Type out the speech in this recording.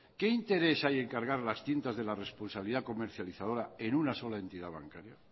qué interés hay en cargar las tintas de la responsabilidad comercializadora en una sola entidad bancaria